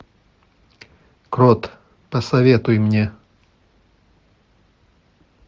крот посоветуй мне